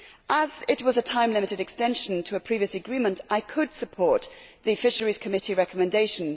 As it was a time limited extension to a previous agreement, I could support the Committee on Fisheries recommendation.